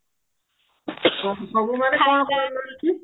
ସବୁ ମାନେ କଣ କଣ